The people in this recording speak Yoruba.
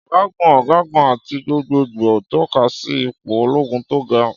Ọ̀gágun, ọ̀gágun, àti gbogbogbò tọ́ka sí ipò ológun tó ga.